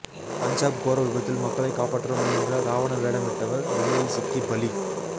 பஞ்சாப் கோர விபத்தில் மக்களை காப்பாற்ற முயன்ற ராவண வேடமிட்டவர் ரயிலில் சிக்கி பலி